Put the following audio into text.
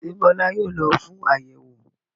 Ṣé Bọ́lá yóò lọ fún àyẹ̀wò?